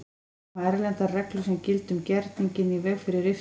Koma erlendar reglur sem gilda um gerninginn í veg fyrir riftun?